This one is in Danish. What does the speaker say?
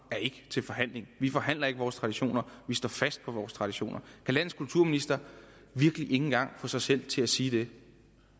ikke til forhandling vi forhandler ikke om vores traditioner vi står fast på vores traditioner kan landets kulturminister virkelig ikke engang få sig selv til at sige det